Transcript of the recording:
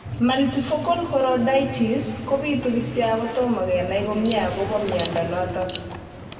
Multifocal choroiditis kopitu kityo ako tomo kenai komie akopo miondo notok